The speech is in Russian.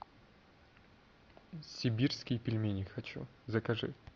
сибирские пельмени хочу закажи